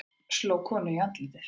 Sló konu í andlitið